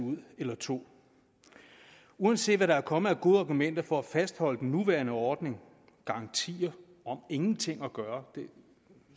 eller to ud uanset hvad der er kommet af gode argumenter for at fastholde den nuværende ordning garantier om ingenting at gøre